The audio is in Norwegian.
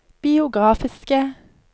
biografiske